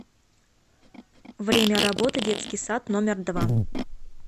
время работы детский сад номер два